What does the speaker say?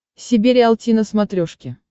себе риалти на смотрешке